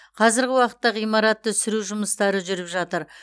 қазіргі уақытта ғимаратты сүру жұмыстары жүріп жатыр